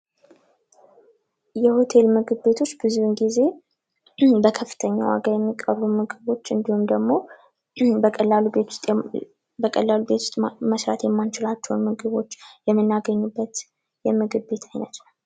የሆቴል ምግብ ቤቶች ብዙውን ጊዜ በከፍተኛ ዋጋ የሚቀርቡ ምግቦች እንዲሁም ደግሞ በቀላል እቤት ውስጥ መስራት የማንችላቸው ምግቦች የምናገኝበት የምግብ ቤት አይነት ነው።